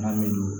Wari bɛ don